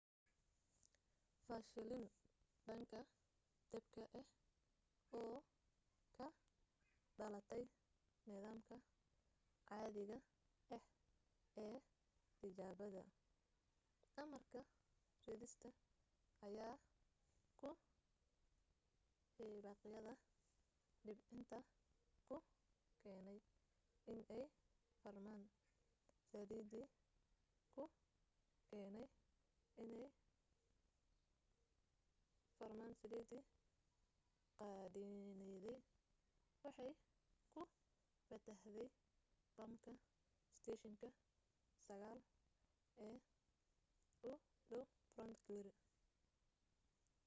fashilan dhanka dabka ah oo ka dhalatay nidaamka caadiga ah ee tijaabada amarka-ridista ayaa ku hibaaqyada debcinta ku keenay inay furmaan saliidii qeedhinaydna waxay ku fatahday bamka isteeshinka 9 ee u dhow fort greely